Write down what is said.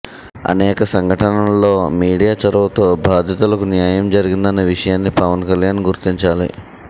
అనేక సంఘటనల్లో మీడియా చొరవతో బాధితులకు న్యాయం జరిగిందన్న విషయాన్ని పవన్ కల్యాణ్ గుర్తించాలి